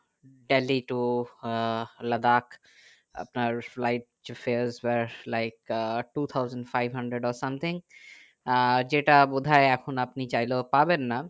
Delhi to Ladakh আপনার like fares ওয়ার্স like two thousand five hundred or something uh যেটা বোধহয় এখন আপনি চাইলেও পাবেন না